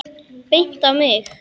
Bent á mig!